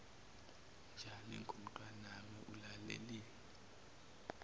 njani ngomntanami ulaleleni